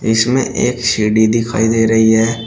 इसमें एक सीढ़ी दिखाई दे रही है।